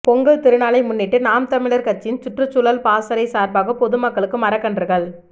பொங்கல் திருநாளை முன்னிட்டு நாம் தமிழா் கட்சியின் சுற்றுச்சூழல் பாசறை சாா்பாக பொதுமக்களுக்கு மரக்கன்றுகள்